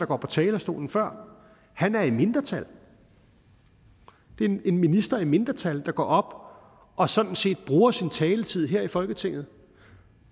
på talerstolen før er i mindretal det er en minister i mindretal der går op og sådan set bruger sin taletid her i folketinget